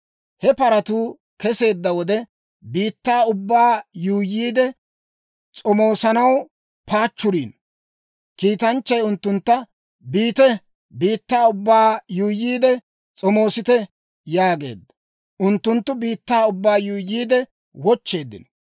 He paratuu keseedda wode, biittaa ubbaa yuuyyiide s'omoosanaw paachchuriino. Kiitanchchay unttuntta, «Biite, biittaa ubbaa yuuyyiide s'omoosite» yaageedda. Unttunttu biittaa ubbaa yuuyyiide wochcheeddino.